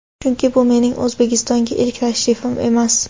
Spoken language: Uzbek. Chunki, bu mening O‘zbekistonga ilk tashrifim emas.